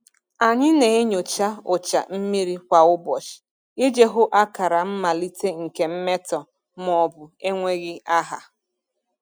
Anyị na-enyocha ụcha mmiri kwa ụbọchị iji hụ akara mmalite nke mmetọ maọbụ enweghị aha.